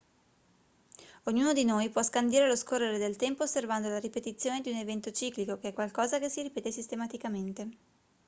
ognuno di noi può scandire lo scorrere del tempo osservando la ripetizione di un evento ciclico che è qualcosa che si ripete sistematicamente